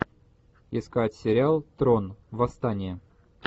искать сериал трон восстание